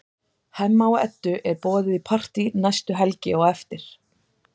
Hemma og Eddu er boðið í partí næstu helgi á eftir.